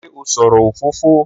Ṣé ó sọ̀rọ̀ òfófó?